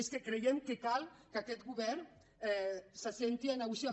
és que creiem que cal que aquest govern s’assegui a negociar